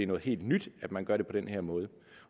noget helt nyt at man gør det på den her måde